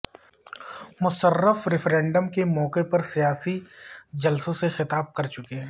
Musharraf referendum کے موقع پر سیاسی جلسوں سے خطاب کر چکے ہیں